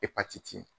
Epatiti